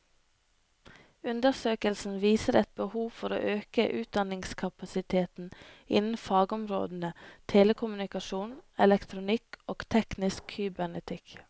Undersøkelsen viser et behov for å øke utdanningskapasiteten innen fagområdene telekommunikasjon, elektronikk og teknisk kybernetikk.